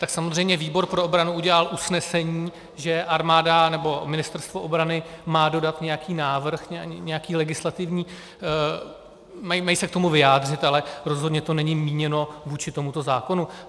Tak samozřejmě výbor pro obranu udělal usnesení, že armáda nebo Ministerstvo obrany má dodat nějaký návrh, nějaký legislativní... mají se k tomu vyjádřit, ale rozhodně to není míněno vůči tomuto zákonu.